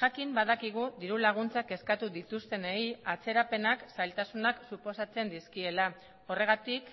jakin badakigu diru laguntzak eskatu dituztenei atzerapenak zailtasunak suposatzen dizkiela horregatik